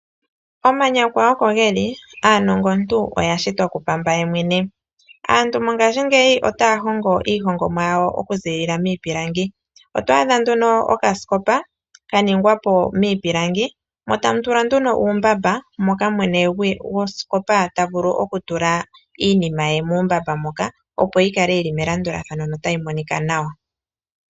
Omanyakwa oko geli , aanongomuntu oya shitwa ku pamba ye mwene. Aantu mongashingeyi otaya hongo iihongomwa yawo oku ziilila miipilangi. Oto adha nduno oka sikopa ka ningwa po miipilangi mo tamu tulwa nduno uumbamba, moka mwene gwosikopa tavulu oku tula iinima ye muumbamba moka opo yi kale yili melandulathano no tayi monika nawa